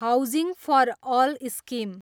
housing for all scheme